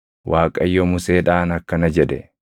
Waaqayyo Museedhaan akkana jedhe;